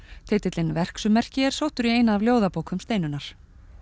titillinn verksummerki er sóttur í eina af ljóðabókum Steinunnar